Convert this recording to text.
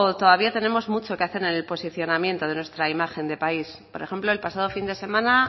todavía tenemos mucho que hacer en el posicionamiento de nuestra imagen de país por ejemplo el pasado fin de semana